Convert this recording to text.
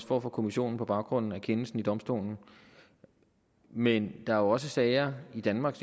får fra kommissionen på baggrund af kendelsen ved domstolen men der er jo også sager i danmark